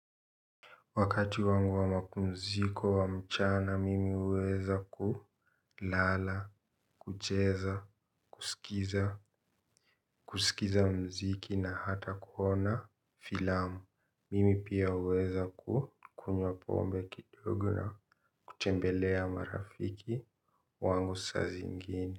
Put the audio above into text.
Wakati wangu wa mapumziko wa mchana mimi huweza kulala, kucheza, kusikiza, kusikiza muziki na hata kuona filamu, mimi pia huweza kukunywa pombe kidogo na kutembelea marafiki wangu saa zingine.